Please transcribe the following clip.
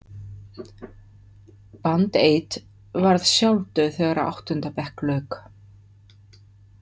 Band eight varð sjálfdauð þegar áttunda bekk lauk.